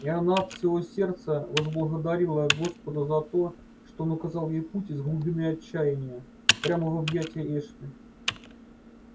и она от всего сердца возблагодарила господа за то что он указал ей путь из глубины отчаяния прямо в объятия эшли